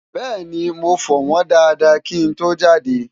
bẹ́ẹ̀ni, mo fọ̀ wọ́ñ dáadáá kí n tó jáde